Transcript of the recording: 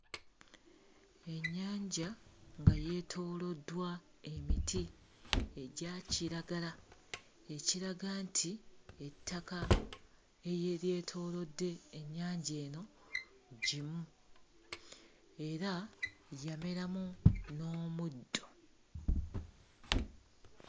Ennyanja nga yeetooloddwa emiti egya kiragala ekiraga nti ettaka eryetoolodde ennyanja eno ggimu era yameramu n'omuddo.